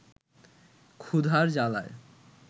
ক্ষুধার জ্বালায়